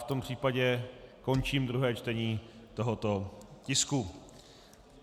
V tom případě končím druhé čtení tohoto tisku.